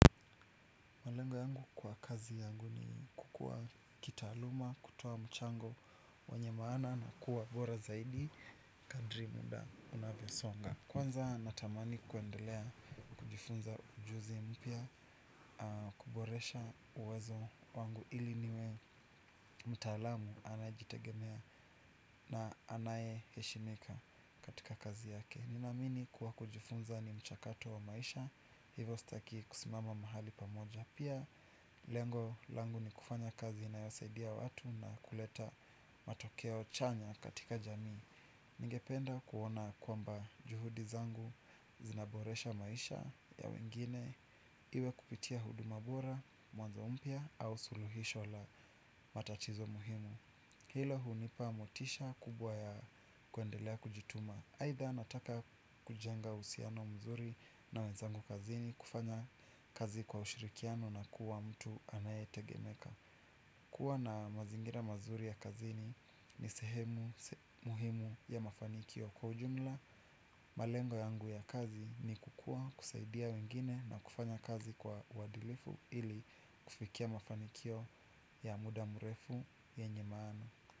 Malengo yangu kwa kazi yangu ni kukua kitaaluma, kutoa mchango wenye maana na kuwa bora zaidi, kadri muda unavyosonga. Kwanza natamani kuendelea kujifunza ujuzi mpya, kuboresha uwezo wangu ili niwe mtaalamu anajitegemea na anaye heshimika katika kazi yake. Nina amini kuwa kujifunza ni mchakato wa maisha, hivyo sitaki kusimama mahali pamoja. Pia lengo langu ni kufanya kazi inayosaidia watu na kuleta matokeo chanya katika jamii. Ningependa kuona kwamba juhudi zangu zinaboresha maisha ya wengine, iwe kupitia huduma bora, mwanzo mpya au suluhisho la matatizo muhimu. Hilo hunipa motisha kubwa ya kuendelea kujituma. Aidha nataka kujenga uhusiano mzuri na wezangu kazini, kufanya kazi kwa ushirikiano na kuwa mtu anaye tegemeka. Kuwa na mazingira mazuri ya kazini ni sehemu muhimu ya mafanikio. Kwa ujumla malengo yangu ya kazi ni kukua, kusaidia wengine na kufanya kazi kwa uadilifu ili kufikia mafanikio ya muda mrefu yenye maana.